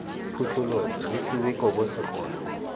phuthologe lo thube kobo segole